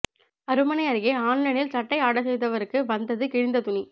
அருமனை அருகே ஆன்லைனில் சட்டை ஆர்டர் செய்தவருக்கு வந்தது கிழிந்த துணி